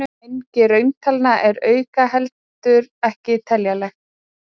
Mengi rauntalna er aukinheldur ekki teljanlegt.